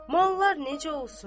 Mallar necə olsun?